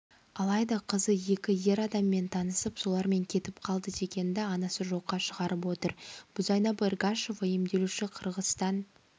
алайда қызы екі ер адаммен танысып солармен кетіп қалды дегенді анасы жоққа шығарып отыр бузайнап эргашева емделуші қырғызстан